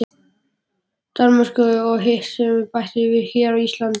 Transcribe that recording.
Danmörku og hitt sem við bættist hér á landi.